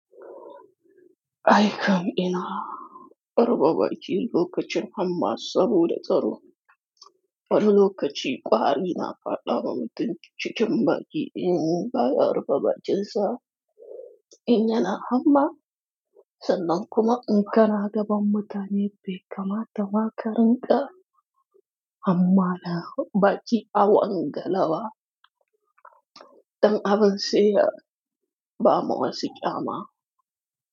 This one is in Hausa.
Ai kam ina raba baki lokacin hamma saboda tsaro. Wani lokaci kwari na faɗa ma mutum cikin baki in baya rufe bakin sa in yana hamma. Sannan kuma in ka na gaban mutane be kamata ma ka rinƙa. Hamma na baki awangale ba. Dan abun seya bama wasu kyama.